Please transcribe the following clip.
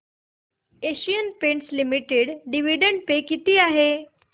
Asian Paints Limited dividend pay किती आहे